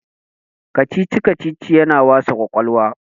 kacici- kacici yana wasa kwakwalwa